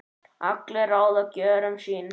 allir ráða gjörðum sín